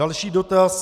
Další dotaz.